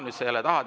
Nüüd sa jälle tahad.